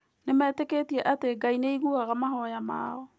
Nĩmetĩkĩtie atĩ Ngai nĩ aiguaga mahoya mao.